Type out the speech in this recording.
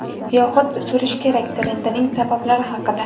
yoxud "Surish kerak" trendining sabablari haqida.